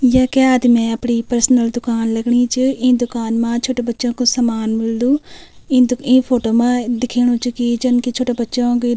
येके आदमी अपणी पर्सनल दुकान लगणी च ई दुकान मा छोट्टो बच्चों को सामान मिलदु ई दु ई फोटो मा दिखेणु च की जन की छोट्टो बच्चों क --